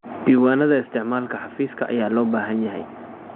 Diiwaanada isticmaalka xafiiska ayaa loo baahan yahay.